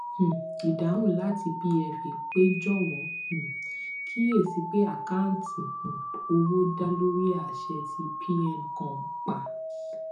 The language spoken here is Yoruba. um idahun lati pfa pe jowo um kiyesi pe akanti um owo da lori ase ti pncom pa